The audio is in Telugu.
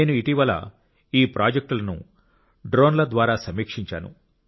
నేను ఇటీవల ఈ ప్రాజెక్టులను డ్రోన్ల ద్వారా సమీక్షించాను